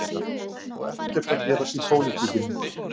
Og ekkert að gerast í pólitíkinni